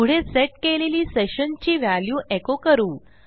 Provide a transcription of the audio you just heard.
पुढे सेट केलेली सेशन ची व्हॅल्यू एको करू